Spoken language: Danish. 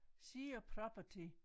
Sea of property